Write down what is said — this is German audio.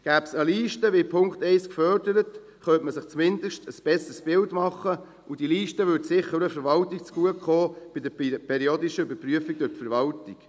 Gäbe es eine Liste, wie in Punkt 1 gefordert, könnte man sich zumindest ein besseres Bild machen, und diese Liste würde sicher auch der Verwaltung bei der periodischen Überprüfung zugutekommen.